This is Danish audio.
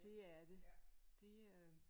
Det er det det øh